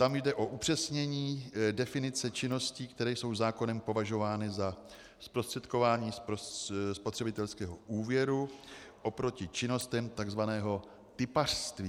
Tam jde o upřesnění definice činností, které jsou zákonem považovány za zprostředkování spotřebitelského úvěru, oproti činnostem tzv. tipařství.